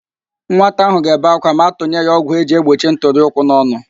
Nwata ahụ ga-ebe akwa ma atụnye ya ọgwụ eji egbochi ntụrịụkwụ n'ọnụ